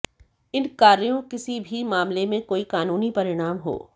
इन कार्यों किसी भी मामले में कोई कानूनी परिणाम हो